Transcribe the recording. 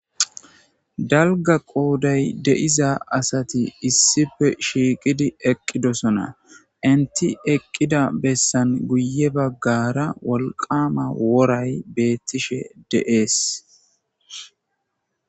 Dumma dumma asati issippe shiiqid eqidosona, eqida besan guye bagara wolqama woray betishe de'es